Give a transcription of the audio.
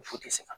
Fu tɛ se ka